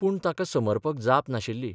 पूण ताका समर्पक जाप नाशिल्ली.